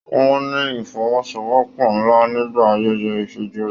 Wọn ní ifọ́wọ́sowọ́pọ̀ nlá nígbà ayẹyẹ ifíjòyè.